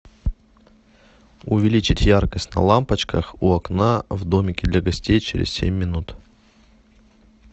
увеличить яркость на лампочках у окна в домике для гостей через семь минут